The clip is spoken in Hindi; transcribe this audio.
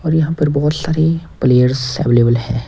और यहां पर बहुत सारे प्लेयर्स अवेलेबल है।